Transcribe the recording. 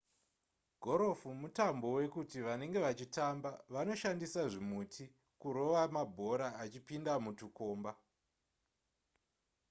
gorofu mutambo wekuti vanenge vachitamba vanoshandisa zvimuti kurova mabhora achipinda mutukomba